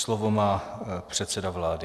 Slovo má předseda vlády.